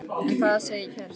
En hvað segir kærastinn?